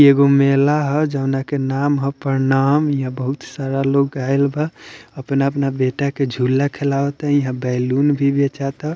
इ एगो मेला ह जोवन के नाम ह प्रणाम यहाँ बहुत सारा लोग आयल बा अपना-अपना बेटा के झूला खेलावता यहाँ बैलून भी बेचाता।